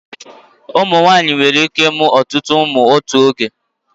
Ụmụnwaanyị nwere ike ịmụ ọtụtụ ụmụ n'otu oge.